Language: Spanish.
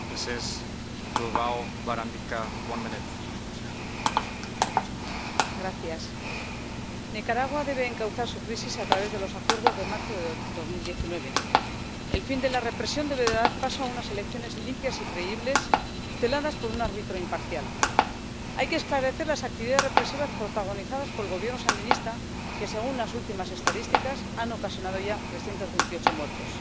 Señor presidente, Nicaragua debe encauzar su crisis a través de los acuerdos de marzo de 2019. El fin de la represión debe dar paso a unas elecciones limpias y creíbles, tuteladas por un árbitro imparcial. Hay que esclarecer las actividades represivas protagonizadas por el Gobierno sandinista que, según las últimas estadísticas, han ocasionado ya 328 muertos.